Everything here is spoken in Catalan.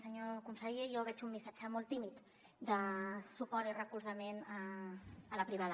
senyor conseller jo veig un missatge molt tímid de suport i recolzament a la privada